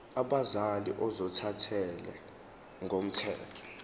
abazali ozothathele ngokomthetho